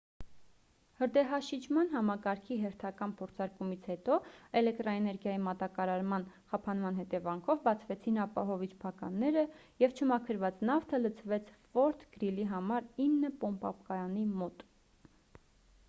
հրդեհաշիջման համակարգի հերթական փորձարկումից հետո էլեկտրաէներգիայի մատակարման խափանման հետևանքով բացվեցին ապահովիչ փականները և չմաքրված նավթը լցվեց ֆորթ գրիլի համար 9 պոմպակայանի մոտ